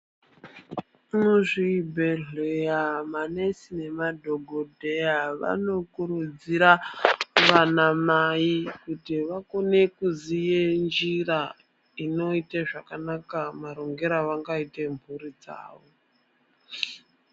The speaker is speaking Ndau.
Muzvibhedhleya manesi nemadhokodheya vanokurudzira vanamai kuti vakone kuziye njira, inoite zvakanaka marongere avangaita mhuri dzawo.